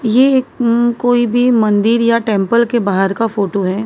ये एक कोई भी मंदिर या टेंपल के बाहर का फोटो है।